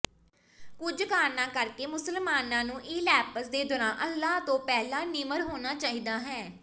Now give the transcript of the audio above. ਕੁਝ ਕਾਰਨਾਂ ਕਰਕੇ ਮੁਸਲਮਾਨਾਂ ਨੂੰ ਈਲੈਪਸ ਦੇ ਦੌਰਾਨ ਅੱਲਾਹ ਤੋਂ ਪਹਿਲਾਂ ਨਿਮਰ ਹੋਣਾ ਚਾਹੀਦਾ ਹੈ